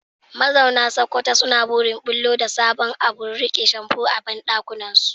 Mazauna Sokoto suna burin bullo da sabon abun rike shamfu a bandakinsu.